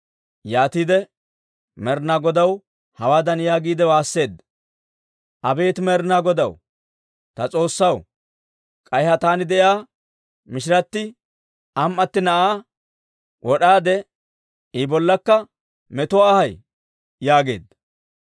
Yaatiide Med'inaa Godaw hawaadan yaagiide waasseedda; «Abeet Med'inaa Godaw, ta S'oossaw, k'ay ha taani de'iyaa mishiratti am"atti na'aa wod'aade, I bollakka metuwaa ayay?» yaageedda.